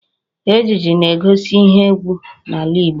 Ijiji na-egosi ihe égwú n'ala Igbo